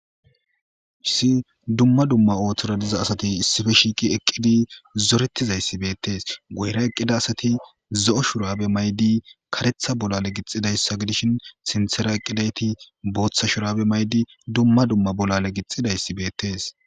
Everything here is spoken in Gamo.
Hayssi dumma dumma oothora diza asati issippe shiiqi eqqi zorettizay beetees, guyera eqqi beyiza asati zo7o shuraabe mayid karetha bolaale gixxidayssa gidishin sinthera eqqidayti bootha shuraabe mayidi dumma dumma bolaale gixxidaysi beettees.